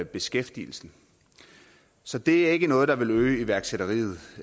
beskæftigelsen så det er ikke noget der vil øge iværksætteriet